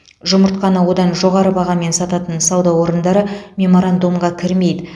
жұмыртқаны одан жоғары бағамен сататын сауда орындары меморандумға кірмейді